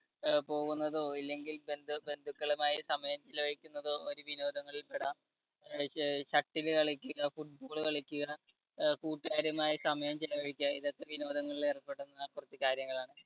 അഹ് പോകുന്നതോ അല്ലെങ്കിൽ ബന്ധു ബന്ധുക്കളുമായി സമയം ചെലവഴിക്കുന്നതോ ഒരു വിനോദങ്ങളിൽ പെടാം. shuttle കളിക്കു, football കളിക്കു, അഹ് കൂട്ടുകാരുമായി സമയം ചെലവഴിക്കുക ഇതൊക്കെ വിനോദങ്ങളിൽ ഏർപ്പെടുന്ന കുറച്ചു കാര്യങ്ങളാണ്.